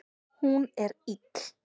Hún er ill.